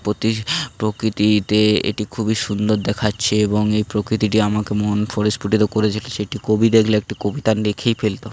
প্রতি প্রকৃতিতে এটি খুবই সুন্দর দেখাচ্ছে এবং এই প্রকৃতিটি আমাকে মন স্পুটিত করেছি একটি কবি দেখলে একটি কবিতা লিখেই ফেলত।